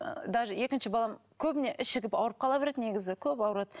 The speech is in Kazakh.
даже екінші балам көбіне ауырып қала береді негізі көп ауырады